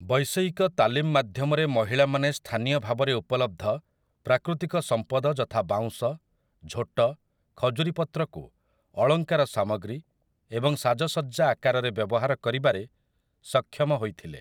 ବୈଷୟିକ ତାଲିମ ମାଧ୍ୟମରେ ମହିଳାମାନେ ସ୍ଥାନୀୟ ଭାବରେ ଉପଲବ୍ଧ ପ୍ରାକୃତିକ ସମ୍ପଦ ଯଥା ବାଉଁଶ, ଝୋଟ, ଖଜୁରୀ ପତ୍ରକୁ ଅଳଙ୍କାର ସାମଗ୍ରୀ ଏବଂ ସାଜସଜ୍ଜା ଆକାରରେ ବ୍ୟବହାର କରିବାରେ ସକ୍ଷମ ହୋଇଥିଲେ ।